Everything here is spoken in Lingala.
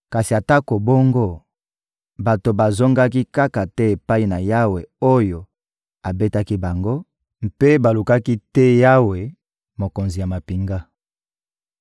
Kasi atako bongo, bato bazongaki kaka te epai na Yawe oyo abetaki bango, mpe balukaki te Yawe, Mokonzi ya mampinga.